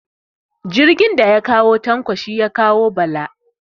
Jirgin daya kawo Tanko shi ya kawo Bala